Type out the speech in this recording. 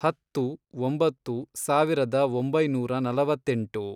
ಹತ್ತು, ಒಂಬತ್ತು, ಸಾವಿರದ ಒಂಬೈನೂರ ನಲವತ್ತೆಂಟು